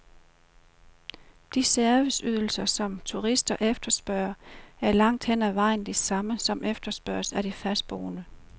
De serviceydelser, som turister efterspørger, er langt hen ad vejen de samme, som efterspørges af de fastboende.